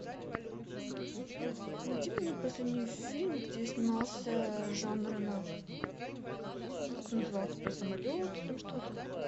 найди мне последний фильм где снимался жан рено как он назывался про самолеты там что то